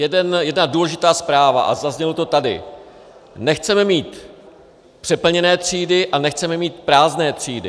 Jedna důležitá zpráva, a zaznělo to tady: nechceme mít přeplněné třídy a nechceme mít prázdné třídy.